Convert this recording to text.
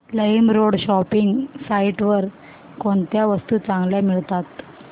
LimeRoad shopping site वर कोणत्या वस्तू चांगल्या मिळतात